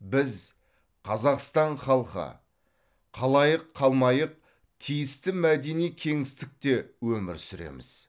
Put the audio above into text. біз қазақстан халқы қалайық қалмайық тиісті мәдени кеңістікте өмір сүреміз